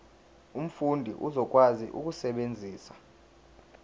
umfundi uzokwazi ukusebenzisa